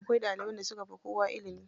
Akwai ɗaliban da suka fi kowa ilimi.